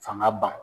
Fanga ban